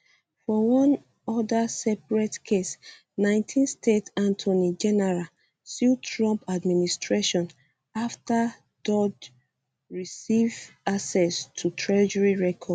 for one oda separate case 19 state attorney generals sue trump administration afta doge receive access to treasury records